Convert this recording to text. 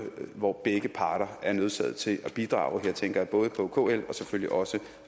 hvor begge parter er nødsaget til at bidrage jeg tænker både på kl og selvfølgelig også